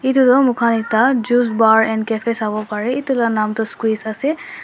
edu tu moikhan ekta juice bar and cafe sawoparae edu la nam tu squeeze ase.